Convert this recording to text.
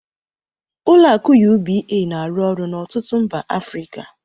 Ụlọ akụ UBA na-arụ ọrụ n'ọtụtụ mba Africa.